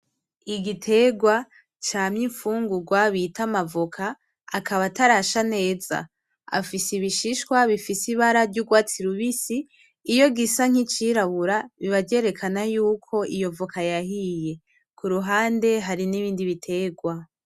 Igiterwa cama infungurwa bita amavoka akaba atarasha neza. Afise ibishishwa bifise ibara ry’urwatsi rubisi, iyo gisa nk’icirabura biba vyerekana k’iyo voka yahiye. Ku ruhande hari n’ibindi biterwa.